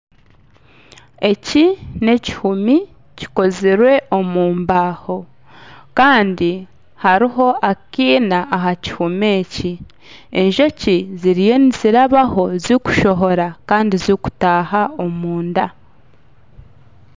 Eki ni ekihumi kikozirwe omu mbaaho kandi hariho akaina aha kihumi eki. Enjoki ziriyo nizirabaho zikushohora kandi zikutaaha omu nda.